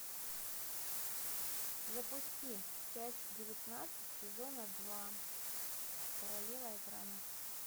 запусти часть девятнадцать сезона два королева экрана